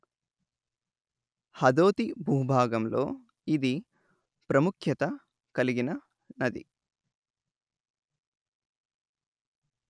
హదోతి భూభాగంలో ఇది ప్రముఖ్యత కలిగిన నది